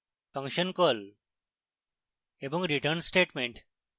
function call এবং return statement